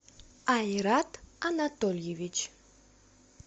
айрат анатольевич